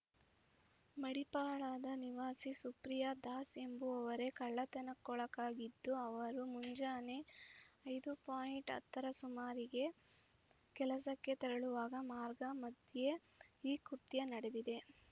ಮಡಿಪಾಳದ ನಿವಾಸಿ ಸುಪ್ರಿಯಾ ದಾಸ್‌ ಎಂಬುವರೇ ಕಳ್ಳತನಕ್ಕೊಳಗಾಗಿದ್ದು ಅವರು ಮುಂಜಾನೆ ಐದು ಪೋಯಿಂಟ್ ಹತ್ತರ ಸುಮಾರಿಗೆ ಕೆಲಸಕ್ಕೆ ತೆರಳುವಾಗ ಮಾರ್ಗ ಮಧ್ಯೆ ಈ ಕೃತ್ಯ ನಡೆದಿದೆ